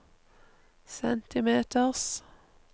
centimeters